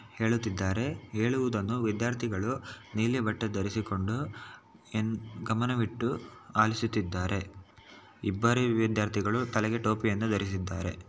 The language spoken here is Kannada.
ಹೇಳುತ್ತಿದ್ದಾರೆ ಹೇಳುವುದನ್ನು ವಿದ್ಯಾರ್ಥಿಗಳು ನೀಲಿ ಬಟ್ಟೆ ಧರಿಸಿಕೊಂಡು ಎ ಗಮನವಿಟ್ಟು ಆಲಿಸುತ್ತಿದ್ದಾರೆ. ಇಬ್ಬರೆ ವಿದ್ಯಾರ್ಥಿಗಳು ತಲೆಗೆ ಟೋಪಿಯನ್ನು ಧರಿಸಿದ್ದಾರೆ.